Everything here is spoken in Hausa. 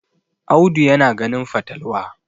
Audu yana ganin fatalwa